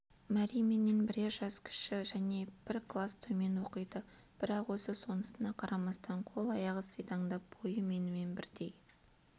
мәри менен бірер жасы кіші және бір класс төмен оқиды бірақ өзі сонысына қарамастан қол-аяғы сидаңдап бойы менімен бірдей